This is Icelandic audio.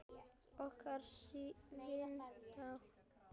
Okkar vinátta lifir.